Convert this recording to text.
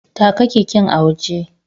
Taka keken a waje.